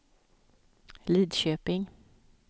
Lidköping